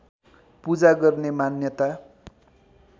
पूजा गर्ने मान्यता